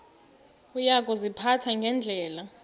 uya kuziphatha ngendlela